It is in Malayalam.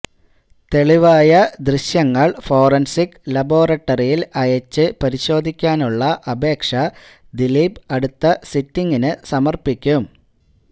തെളിവായ ദൃശ്യങ്ങളൾ ഫോറൻസിക് ലാബോറട്ടറിയിൽ അയച്ച് പരിശോധിക്കാനുള്ള അപേക്ഷ ദീലീപ് അടുത്ത സിറ്റിംഗിന് സമർപ്പിക്കും